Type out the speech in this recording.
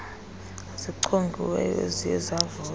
zichongiweyo eziye zavota